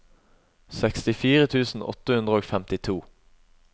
sekstifire tusen åtte hundre og femtito